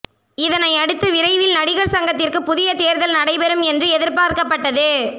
இதனை அடுத்து விரைவில் நடிகர் சங்கத்திற்கு புதிய தேர்தல் நடைபெறும் என்று எதிர்பார்க்கப்பட்டது